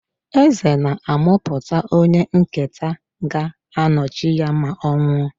Eze na-amụpụta onye nketa ga-anọchi ya ma ọ nwụọ.